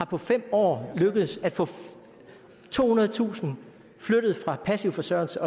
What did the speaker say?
på fem år lykkedes at få tohundredetusind flyttet fra passiv forsørgelse